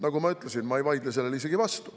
Nagu ma ütlesin, sellele ma ei vaidle isegi vastu.